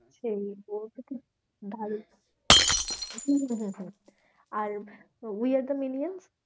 সেই ঠিক hmm hmm hmm আর উই আর দ্য মিলিয়ন্স?